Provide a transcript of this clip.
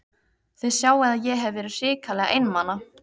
Þið sjáið að ég hef verið hrikalega einmana!